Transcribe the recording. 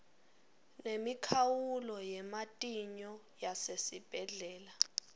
nemikhawulo yematinyo yasesibhedlela